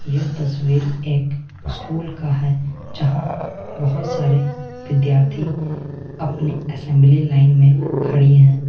यह तस्वीर एक स्कूल का है जहां बहोत सारे विद्यार्थी अपने असेंबली लाइन में खड़ी है।